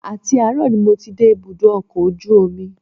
Àti àárọ̀ ni mo ti dé ibùdó ọkọ̀ ojú omi